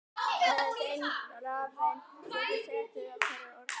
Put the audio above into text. Aðeins ein rafeind getur setið á hverju orkustigi.